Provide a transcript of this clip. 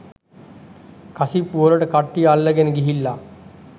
කසිප්පු වලට කට්ටිය අල්ලගෙන ගිහිල්ලා